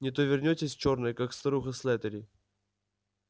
не то вернётесь чёрная как старуха слэттери